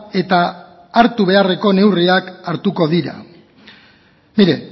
eta hartu beharreko neurriak hartuko dira mire